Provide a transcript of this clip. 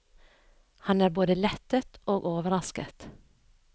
Han er både lettet og overrasket.